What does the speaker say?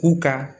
U ka